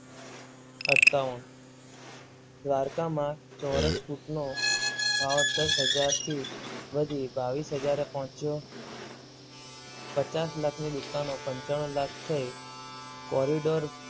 દ્વારકામાં ચોરસ ફુટ નો ભાવ દસ હજાર થી વધીબાવીસ હજાર પહોંચ્યો. પચાસ લાખની દુકાનો પંચાણુ લાખ થઈ કોરિડોર